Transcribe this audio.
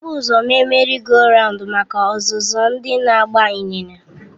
Ebu ụzọ mee Merị goo rawundu maka. ọzụzụ ndị na-agba ịnyịnya.